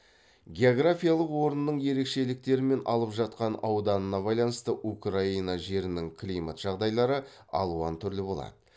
географиялық орнының ерекшеліктері мен алып жатқан ауданына байланысты украина жерінің климат жағдайлары алуан түрлі болады